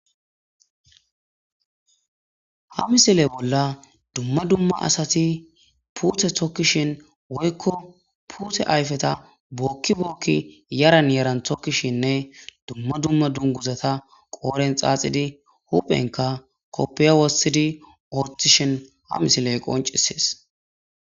ha misiley bolla dumma dumma asati pute tokkishin woykko pute ayfeta bookki bookki yaran yaran tokkishinne dumma dumma dunguzata qooren xaaxidi huphenka koppiya wossidi ortishin ha misiley qoncisees